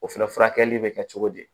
O fɛnɛ furakɛli bɛ kɛ cogo di